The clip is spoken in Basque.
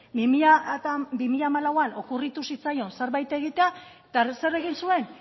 bi mila hamalauan okurritu zitzaion zerbait egitea eta zer egin zuen